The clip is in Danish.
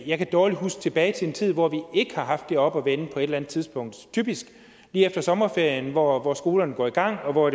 jeg kan dårligt huske tilbage til en tid hvor vi ikke har haft det oppe at vende på et eller andet tidspunkt typisk lige efter sommerferien hvor hvor skolerne går i gang og hvor